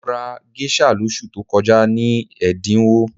Mo rà géṣà lóṣù tó kọjá ní ẹ̀dínwó